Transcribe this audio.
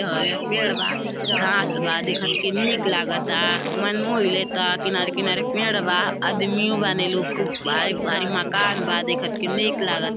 पेड़ बा घास बा देखत के निक लागता मन मोही लेता। किनारे-किनारे पेड़ बा आदमियो बाने लो। खूब भारी-भारी मकान बा। देखत के निक लागत --